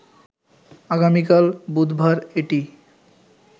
আগামীকাল বুধবার এটি